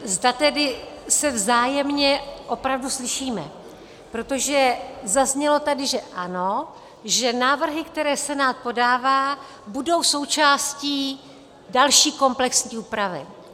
... zda tedy se vzájemně opravdu slyšíme, protože zaznělo tady, že ano, že návrhy, které Senát podává, budou součástí další komplexní úpravy.